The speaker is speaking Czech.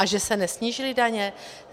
A že se nesnížily daně?